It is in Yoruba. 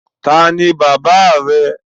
Taàní bàbá rẹ?